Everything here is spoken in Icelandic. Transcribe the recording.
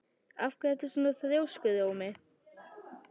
Af hverju ertu svona þrjóskur, Ómi?